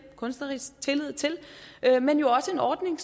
kunstnerisk tillid til men jo også en ordning